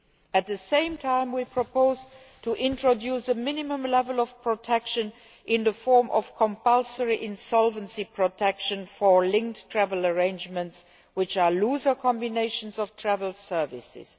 At the same time, we propose introducing a minimum level of protection in the form of compulsory insolvency protection for linked travel arrangements, which are looser combinations of travel services.